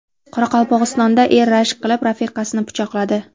Qoraqalpog‘istonda er rashk qilib rafiqasini pichoqladi.